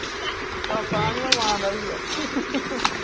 ਪਾਪਾ ਨੀ ਉਹ ਮਾਂ ਦਾ ਹੀ ਆ